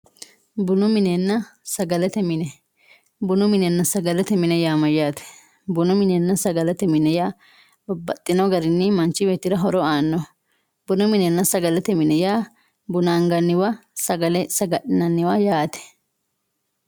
bunu minenna sagalete mini. bunu minenna sagalete mini yaa mayyaate bunu minenna sagalete mini yaa babbaxxino garinni manchi beettira lowo aannoho bunu minenna sagalete mini yaa buna anganniwa sagale saga'linanniwa yaate.